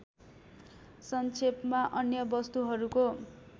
संक्षेपमा अन्य वस्तुहरूको